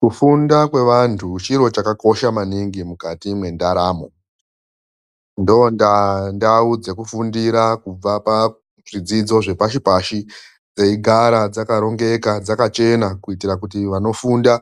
Kufunda kwevantu chiro chakakosha maningi mukati mwendaramo. Ndondaa ndau dzekufundira kubva pazvidzidzo zvepashi-pashi dzeyigara dzakarongeka dzakachena, kuitira kuti vanofunda